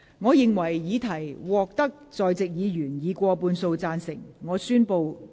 我認為議題獲得在席議員以過半數贊成。